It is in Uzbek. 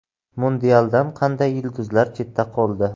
Mundialdan qanday yulduzlar chetda qoldi?.